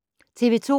TV 2